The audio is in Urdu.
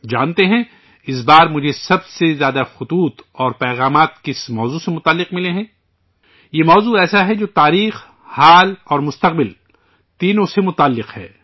جانتے ہیں اس بار مجھے سب سے زیادہ خطوط اور پیغامات کس موضوع کے بارے میں ملے ہیں؟ یہ موضوع ایسا ہے جو ماضی، حال اور مستقبل تینوں سے جڑا ہے